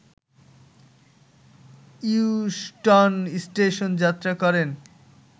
Euston station যাত্রা করেন